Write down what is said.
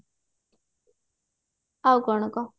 ଆଉ କଣ କହ